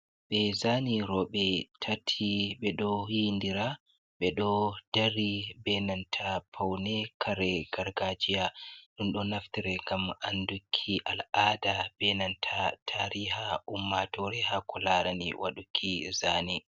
Ɓe zani roɓe tati ɓe ɗo yi'indira ɓe ɗo dari be nanta paune kare gargajiya ɗum do naftare ngam anduki al'ada be nanta tariha ummatore ha kularani waduki zane.